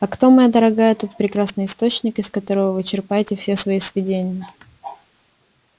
а кто моя дорогая тот прекрасный источник из которого вы черпаете все свои сведения